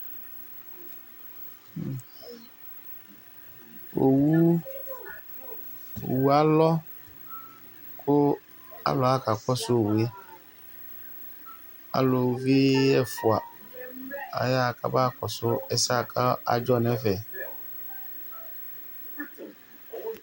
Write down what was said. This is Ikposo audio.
Owu alɔ ku alu aɣa kakɔsu owu yɛ, aluvi ɛfua, ayaɣa kamakɔsu ɛsɛyɛ bua kadzɔ nu ɛfɛ